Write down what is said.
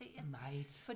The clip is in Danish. Meget